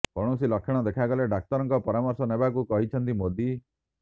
କୌଣସି ଲକ୍ଷଣ ଦେଖାଗଲେ ଡାକ୍ତରଙ୍କ ପରାମର୍ଶ ନେବାକୁ କହିଛନ୍ତି ମୋଦୀ